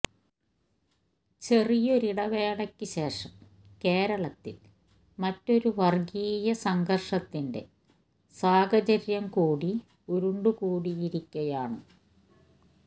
ചെറിയൊരിടവേളയ്ക്ക് ശേഷം കേരളത്തിൽ മറ്റൊരു വർഗ്ഗീയ സംഘർഷത്തിന്റെ സാഹചര്യം കൂടി ഉരുണ്ടുകൂടിയിരിക്കുകയാണ്